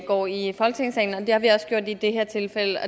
går i folketingssalen og det har vi også gjort i det her tilfælde